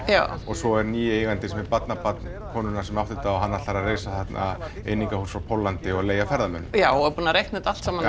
svo er nýi eigandinn sem er barnabarn konunnar sem átti þetta og hann ætlar að reisa þarna einingahús frá Póllandi og leigja ferðamönnum já og er búinn að reikna þetta allt saman